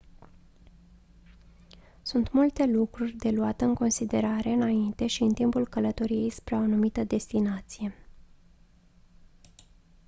sunt multe lucruri de luat în considerare înainte și în timpul călătoriei spre o anumită destinație